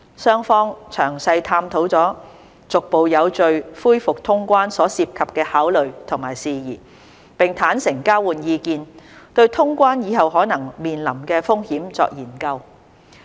雙方詳細探討了逐步有序恢復通關所涉及的考慮和事宜，並坦誠交換意見，對通關以後可能面臨的風險作研究。